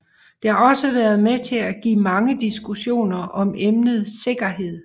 Det har også været med til at give mange diskussioner om emnet sikkerhed